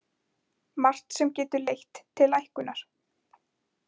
Margt sem getur leitt til lækkunar